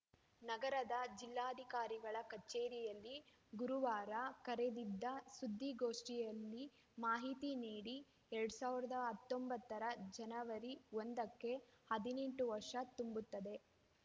ನಗರದ ಜಿಲ್ಲಾಧಿಕಾರಿಗಳ ಕಚೇರಿಯಲ್ಲಿ ಗುರುವಾರ ಕರೆದಿದ್ದ ಸುದ್ದಿಗೋಷ್ಠಿಯಲ್ಲಿ ಮಾಹಿತಿ ನೀಡಿ ಎರಡ್ ಸಾವಿರದ ಹತ್ತೊಂಬತ್ತರ ಜನವರಿ ಒಂದಕ್ಕೆ ಹದಿನೆಂಟು ವರ್ಷ ತುಂಬುತ್ತದೆ